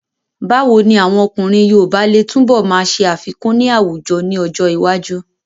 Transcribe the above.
Báwo ni àwọn ọkùnrin yoòbá lè túnbọ̀ máa ṣe àfikún ní àwùjọ ní ọjọ́ iwájú?